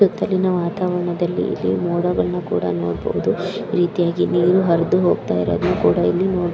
ಸುತ್ತಲಿನ ವಾತಾವರಣದಲ್ಲಿ ಇಲ್ಲಿ ಮೋಡಗಳನ್ನು ಕೂಡ ನೋಡಬಹುದು ಈ ರೀತಿಯಾಗಿ ನೀರು ಹರಿದು ಹೋಗ್ತಾಯಿರೋದನ ಕೂಡ ಇಲ್ಲಿ ನೋಡ್ --